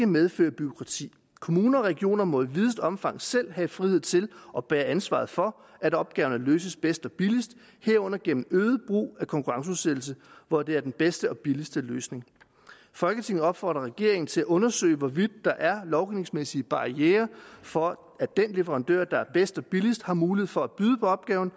medføre bureaukrati kommuner og regioner må i videst muligt omfang selv have frihed til og bære ansvaret for at opgaverne løses bedst og billigst herunder gennem øget brug af konkurrenceudsættelse hvor det er den bedste og billigste løsning folketinget opfordrer regeringen til at undersøge hvorvidt der er lovgivningsmæssige barrierer for at den leverandør der er bedst og billigst har mulighed for at byde på opgaven